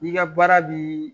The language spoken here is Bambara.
N'i ka baara bi